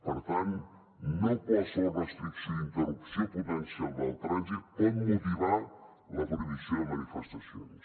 per tant no qualsevol restricció i interrupció potencial del trànsit pot motivar la prohibició de manifestacions